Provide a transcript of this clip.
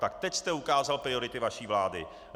Tak teď jste ukázal priority vaší vlády.